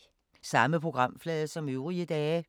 Samme programflade som øvrige dage